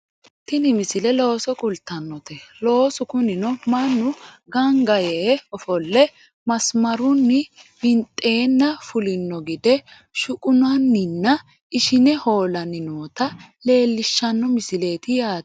tini misile looso kultannote loosu kunino mannu ganga yee ofolle masimarunni winxeenna fulino gide shuqunanninna ishine hoolanni noota leellishshano misileeti yaate